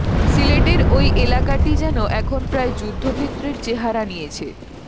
সিলেটের ঐ এলাকাটি যেন এখন প্রায় যুদ্ধক্ষেত্রের চেহারা নিয়েছে